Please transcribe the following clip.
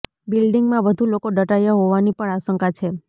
બિલ્ડિંગમાં વધુ લોકો દટાયા હોવાની પણ આશંકા છે